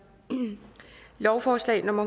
lovforslag nummer